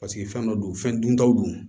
Paseke fɛn dɔ don fɛn duntaw don